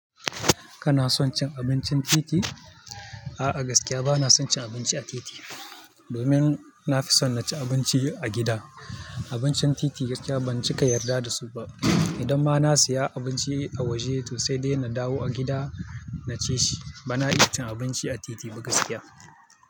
Kana son cin abincin titi? A'a, gaskiya bana son cin abinci a titi. Domin na fi son na ci abinci a gida. Abincin titi gaskiya ban cika yarda da su ba. Idan ma na siya abinci a waje to sai dai na dawo a gida na ci shi. Bana iya cin abinci a titi ba gaskiya.